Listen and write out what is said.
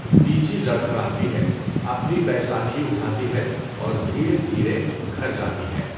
دیچی لڑکھڑاتی ہے، اپنی بیساکھی اْٹھاتی ہے اور دھیرے دھیرے گھر جاتی ہے۔